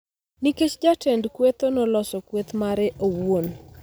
nikech jatend kwethno noloso kweth mare owuon.